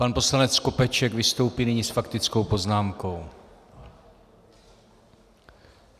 Pan poslanec Skopeček vystoupí nyní s faktickou poznámkou.